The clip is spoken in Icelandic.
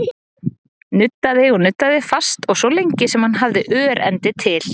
Nuddaði og nuddaði, fast og svo lengi sem hann hafði örendi til.